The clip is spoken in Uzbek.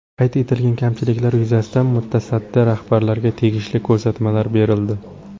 Qayd etilgan kamchiliklar yuzasidan mutasaddi rahbarlarga tegishli ko‘rsatmalar berildi.